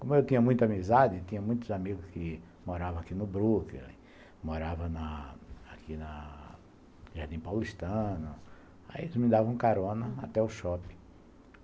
Como eu tinha muita amizade, tinha muitos amigos que moravam aqui no Brooklyn, moravam aqui no Jardim Paulistano, aí eles me davam carona até o Shopping.